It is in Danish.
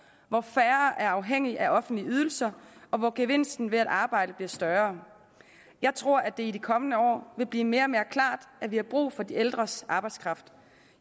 hvor færre er afhængige af offentlige ydelser og hvor gevinsten ved at arbejde bliver større jeg tror at det i de kommende år vil blive mere og mere klart at vi har brug for de ældres arbejdskraft